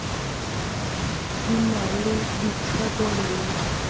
di na le ditsebo le